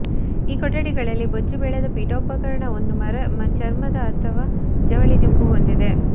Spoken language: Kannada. ಈ ಕೊಠಡಿಗಳಲ್ಲಿ ಬೊಜ್ಜುಬೆಳೆದ ಪೀಠೋಪಕರಣ ಒಂದು ಚರ್ಮದ ಅಥವಾ ಜವಳಿ ದಿಂಬು ಹೊಂದಿದೆ